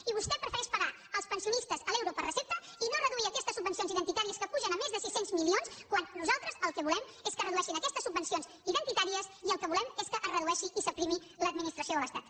i vostè prefereix fer pagar als pensionistes l’euro per recepta i no reduir aquestes subvencions identitàries que pugen més de sis cents milions quan nosaltres el que volem és que redueixin aquestes subvencions identitàries i el que volem és que es redueixi i s’aprimi l’administració de l’estat